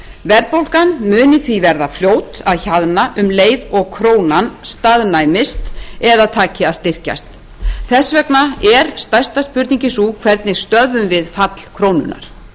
verðbólgan muni því verða fljót að hjaðna um leið og krónan staðnæmist eða taki að styrkjast þess vegna er stærsta spurningin sú hvernig stöðvum við fall krónunnar